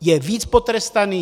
Je víc potrestaný?